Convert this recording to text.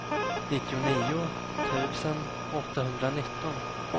nittionio tusen åttahundranitton